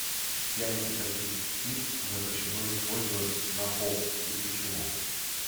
яйца каких птиц запрещено использовать на поп и почему